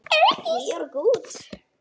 Við erum góð